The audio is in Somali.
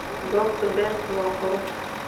Goobta beertu waa qurux.